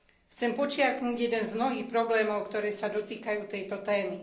Chcem podčiarknuť jeden z mnohých problémov, ktoré sa dotýkajú tejto témy.